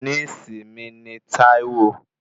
Níèsì mi ni Taiwo